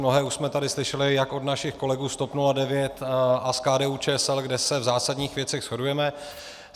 Mnohé už jsme tady slyšeli jak od našich kolegů z TOP 09 a z KDU-ČSL, kde se v zásadních věcech shodujeme.